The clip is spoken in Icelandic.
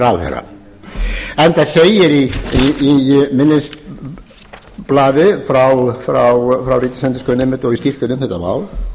ráðherra enda segir í minnisblaði frá ríkisendurskoðun einmitt og í skýrslunni um þætti mál